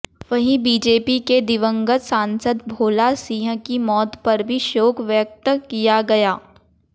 वहीं बीजेपी के दिवंगत सांसद भोला सिंह की मौत पर भी शोक व्यक्त किया गया